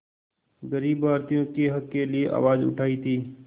ग़रीब भारतीयों के हक़ के लिए आवाज़ उठाई थी